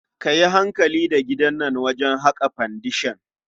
A yi hankali da digan nan wajen haƙa fendeshan.